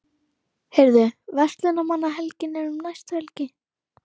Heyrðu, Verslunarmannahelgin er um næstu helgi.